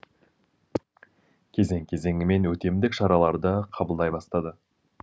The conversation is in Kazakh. кезең кезеңімен өтемдік шараларды қабылдай бастады